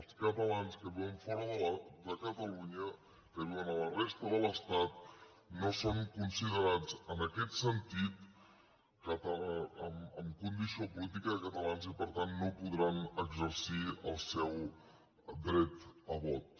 els catalans que viuen fora de catalunya que viuen a la resta de l’estat no són considerats en aquest sentit amb condició política de catalans i per tant no podran exercir el seu dret a vot